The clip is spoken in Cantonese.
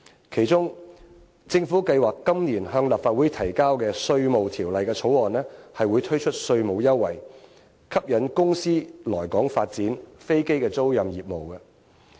其中，政府計劃今年向立法會提交修訂《稅務條例》的條例草案，推出稅務優惠，吸引公司來港發展飛機租賃業務。